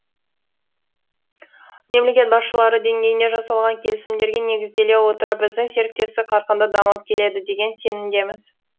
мемлекет басшылары деңгейінде жасалған келісімдерге негізделе отырып біздің серіктестік қарқынды дамып келеді деген сенімдеміз